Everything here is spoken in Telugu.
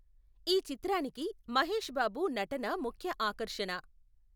ఈ చిత్రానికి మహేష్ బాబు నటన ముఖ్య ఆకర్షణ.